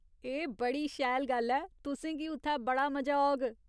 एह् बड़ी शैल गल्ल ऐ , तुसेंगी उत्थै बड़ा मजा औग।